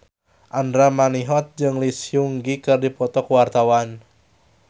Andra Manihot jeung Lee Seung Gi keur dipoto ku wartawan